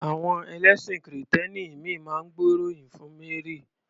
Àwọn ẹlẹ́sìn kìrìtẹ́nì ìmíì máa ń gbóríyìn fún Mary.